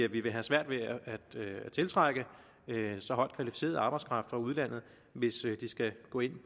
vi vil have svært ved at tiltrække så højt kvalificeret arbejdskraft fra udlandet hvis de skal gå ind